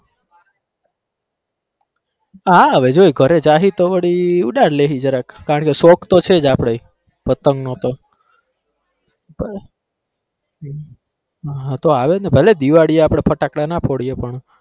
હા હવે જોઈ ઘરે જાહી તો વળી ઉડાડ લેહી જરાક કારણ કે શોખ તો છે આપડે પતંગ નો તો હા તો આવે જ ને ભલે દિવાળી એ આપડે ફટાકડા ના ફોડીએ પણ